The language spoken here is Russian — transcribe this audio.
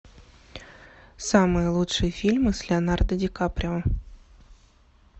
самые лучшие фильмы с леонардо ди каприо